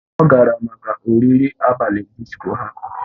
Ọ gara maka oriri abalị disko ha